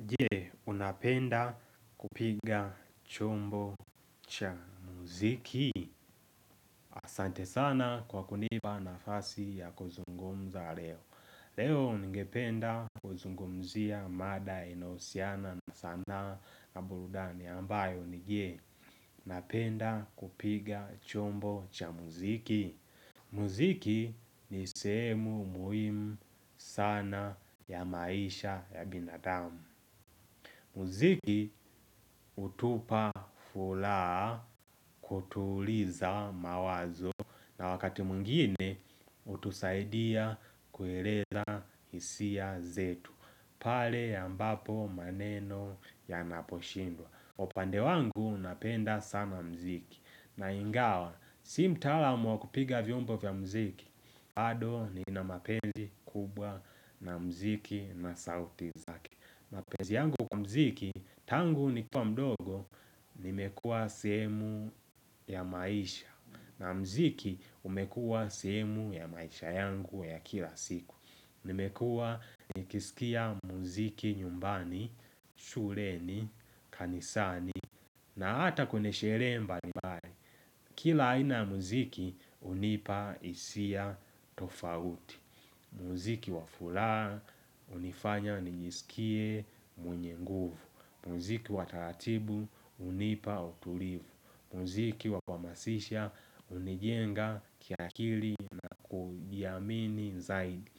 Je, unapenda kupiga chombo cha muziki asante sana kwa kunipa nafasi ya kuzungumza leo. Leo ningependa kuzungumzia mada inahusiana na sanaa na burudani ambayo ni je napenda kupiga chombo cha muziki. Muziki ni sehemu muhimu sana ya maisha ya binadamu. Muziki hutupa fulaha kutuliza mawazo na wakati mwingine utusaidia kueleza hisia zetu. Pale ambapo maneno yanaposhindwa. Upande wangu napenda sana mziki. Na ingawa, si mtaalam wa kupiga vyombo vya mziki. Bado nina mapenzi kubwa na mziki na sauti za. Mapenzi yangu kwa mziki, tangu nikuwa mdogo nimekua sehemu ya maisha na mziki umekua sehemu ya maisha yangu ya kila siku. Nimekua nikisikia mziki nyumbani, shuleni, kanisani na hata kune sherehe mbali mbali. Kila aina ya mziki unipa hisia tofauti. Muziki wa fulaha unifanya nijisikie mwenye nguvu. Muziki wa taratibu unipa utulivu. Muziki wa kuhamasisha unijenga kiakili na kujiamini zaidi.